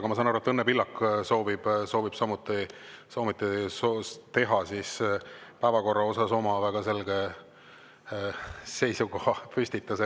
Aga ma saan aru, et Õnne Pillak soovib samuti teha päevakorra kohta oma väga selge seisukohapüstituse.